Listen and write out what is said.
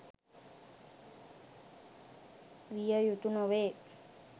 විය යුතු නොවේ.